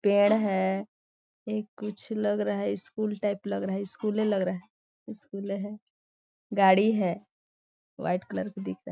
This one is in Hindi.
पेड़ है ये कुछ लग रहा है स्कूल टाइप लग रहा है स्कूले लग रहा है स्कूले है गाड़ी है वाइट कलर का दिख रहा है।